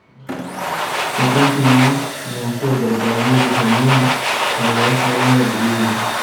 Eetwo entiim oo inginias loo baribara ainger eneim enkoitoi sapuk naaitobiri teine.